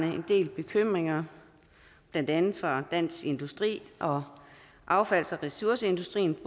en del bekymringer blandt andet fra dansk industri og affalds og ressourceindustrien